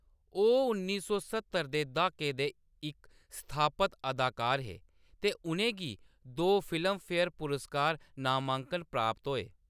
ओह्‌‌ उन्नी सौ सत्तर दे द्हाके दे इक स्थापत अदाकार हे ते उʼनें गी दो फिल्मफेयर पुरस्कार नामांकन प्राप्त होए।